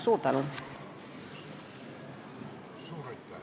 Suur tänu!